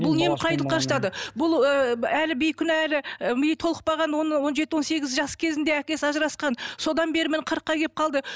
бұл немкұрайлыққа жатады бұл ыыы әлі бейкүнәлі ы миы толықпаған он он жеті он сегіз жас кезінде әкесі ажырасқан содан бері міне қырыққа келіп қалды